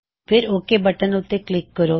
ਫੇਰ okay button ਉੱਤੇ click ਕਰੋ